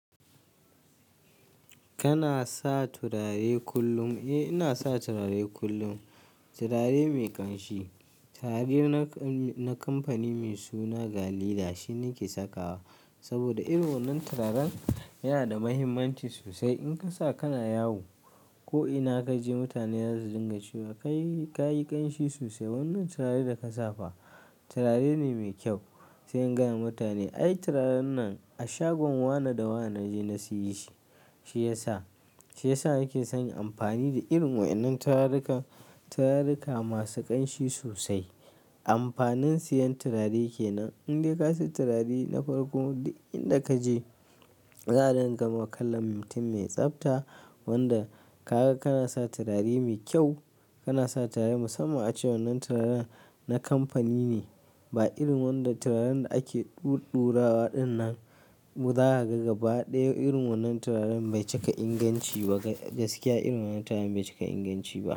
Kana sa turare kullum? Eh, ina sa turare kullum. Turare mai ƙanshi. Turare na kamfani mai suna Galida shi nake sakawa. Saboda irin wannan turaren yana da mahimmanci sosai. In ka sa kana yawo ko ina ka je mutane za su dinga cewa ka yi ƙanshi sosai. Wannan turare da ka safa turare ne mai kyau. Sai in gaya wa mutane ai turaren nan a shagon Wane da Wane naje na siye shi. Shi ya, shiya sa nake son in yi amfani da irin waɗannan turarurruka, turarurruka masu ƙanshi sosai. Amfanin siyan turare ke nan. Indai ka sai turare na farko, inda ka je za a dinga ma kallon mutum mai tsafta wanda ka ga kana sa turare mai kyau. Kana sa turare musamman ace wannan turaren na kamfani ne. Ba irin wanda turaren da ake ɗurɗurawa ɗin nan. Kuma za kaga gaba ɗaya irin wannan turaren bai cika inganci ba. Gaskiya irin wannan turaren bai cika inganci ba.